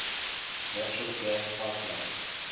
natural gas pipeline